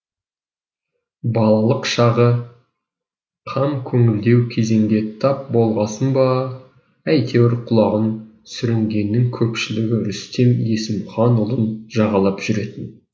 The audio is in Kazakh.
балалық шағы қамкөңілдеу кезеңге тап болғасын ба әйтеуір құлаған сүрінгеннің көпшілігі рүстем есімханұлын жағалап жүретін